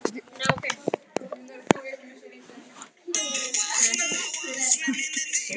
Stórkostlegt sagði Nikki og gat varla leynt undrun sinni.